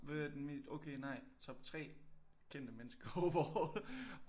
Hvad er den mest okay nej top 3 kendte mennesker overall